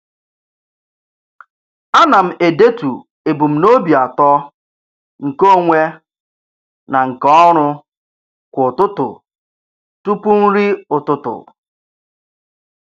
A na m edetu ebumnobi atọ nke onwe na nke ọrụ kwa ụtụtụ tụpụ nri ụtụtụ.